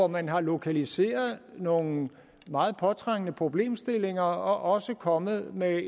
man har lokaliseret nogle meget påtrængende problemstillinger også kommet med